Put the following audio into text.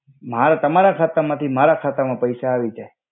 માર તમારા ખાતા માથી મારા ખાતા મા પૈસા આવી જઈ.